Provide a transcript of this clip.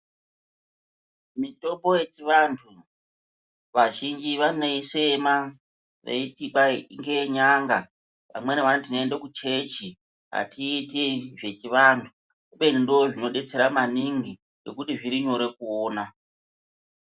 Mitombo yechivantu vazhinji vanoisema veiti kwahi ngeyenyanga. Amweni vanoti tinoende kuchechi hatiiti zvechivantu. Kubeni ndoozvinodetsera maningi ngekuti zvirinyore kuona.